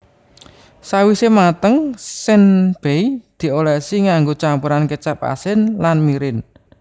Sawise mateng senbei diolesi nganggo campuran kecap asin lan mirin